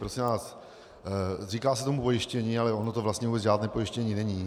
Prosím vás, říká se tomu pojištění, ale ono to vlastně vůbec žádné pojištění není.